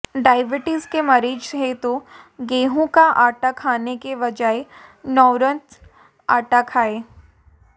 diabetes के मरीज हैं तो गेंहू का आटा खाने के बजाय नौरत्न आटा खाएं